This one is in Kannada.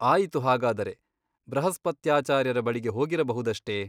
ಆಯಿತು ಹಾಗಾದರೆ ಬೃಹಸ್ಪತ್ಯಾಚಾರ್ಯರ ಬಳಿಗೆ ಹೋಗಿಬರಬಹುದಷ್ಟೆ?